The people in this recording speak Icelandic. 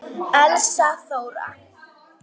Elsa Þóra.